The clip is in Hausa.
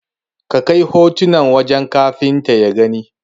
Ka kai hotunan wajen Kafuntan ya gani.